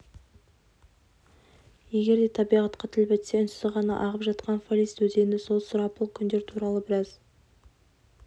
егер де табиғатқа тіл бітсе үнсіз ғана ағып жатқан палисть өзені сол сұрапыл күндер туралы біраз